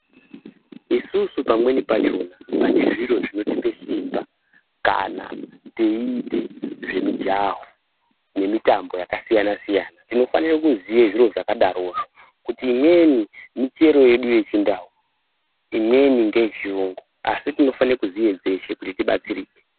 Isusu pamweni pachona pane zviro zvinotipe simba kana teite zvemijaho nemitambo yakasiyana siyana tinofanire kuziya zviro zvakadarozvo kuti imweni michero yedu yechindau imweni ngeyechiyungu asi tinofanire kuziye dzeshe kuti tibatsirike.